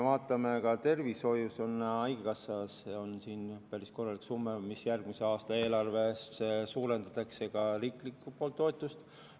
Ka tervishoiule ja haigekassale on päris korralik summa, järgmise aasta eelarves suurendatakse ka riiklikku toetust.